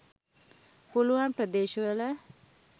පුලුවන් ප්‍රදේශවල